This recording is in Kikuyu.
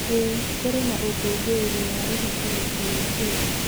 ĩĩ, kũrĩ na ũkũngũĩri wa ũhiki wiki yũkĩte.